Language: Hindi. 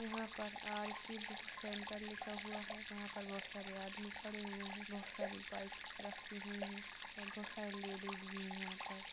यहाँ पर आरती बुक सेन्टर लिखा हुआ है यहाँ पर बहुत सारे आदमी खड़े हुए हैं बहुत सारी बाइक रखी हुई है और बहुत सारी लेडीज भी है यहाँ पर।